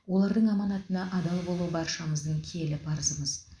олардың аманатына адал болу баршамыздың киелі парызымыз